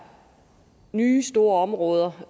nye store områder